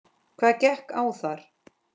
Hvað gekk á þar?